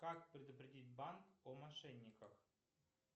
как предупредить банк о мошенниках